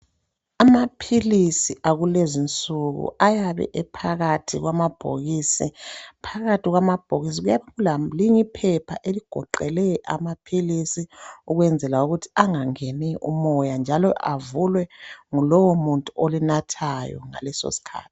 Amaphilise akulezi insuku ayabe ephakathi kwamabhokisi. Phakathi kwamabhokisi kuyabe kule linye iphepha eligoqele amaphilisi ukwenzela ukuthi angangeni umoya njalo njalo avulwe ngulowo munyeu olinathayo ngaleso sikhathi.